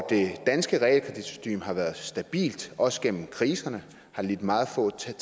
det danske realkreditsystem har været stabilt også gennem kriserne har lidt meget få tab